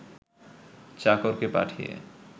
চাকরকে পাঠিয়ে